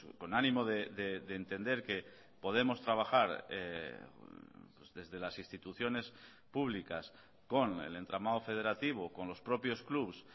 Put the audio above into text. con ánimo de entender que podemos trabajar desde las instituciones públicas con el entramado federativo con los propios clubs